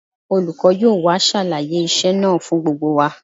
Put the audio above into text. Olùkọ́ yóò wá ṣàlàyé iṣẹ́ náà fún gbogbo wa